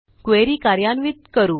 query कार्यान्वित करू